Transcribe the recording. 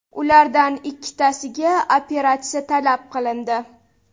Ulardan ikkitasiga operatsiya talab qilindi.